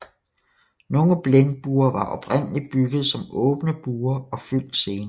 Nogle blindbuer var oprindeligt bygget som åbne buer og fyldt senere